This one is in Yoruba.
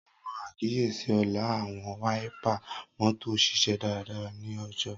Awọn akiyesi Ola, Awọn wáípà mọ́tò ṣiṣẹ daradara ni ojo.